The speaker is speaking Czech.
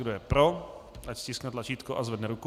Kdo je pro, ať stiskne tlačítko a zvedne ruku.